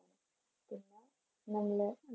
നല്ല